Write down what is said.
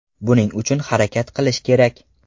Buning uchun harakat qilish kerak.